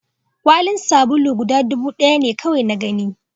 kwalin sabuli guda dubu ɗaya ne kawai na gani